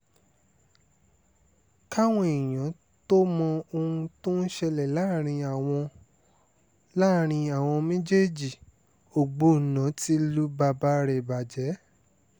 káwọn èèyàn sì tóó mọ ohun tó ń ṣẹlẹ̀ láàrin àwọn láàrin àwọn méjèèjì ògbóná ti lu bàbá rẹ̀ bàjẹ́